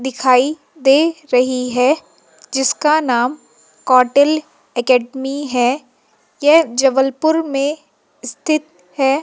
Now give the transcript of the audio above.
दिखाई दे रही है जिसका नाम कौटिल्य एकेडमी है यह जबलपुर में स्थित है।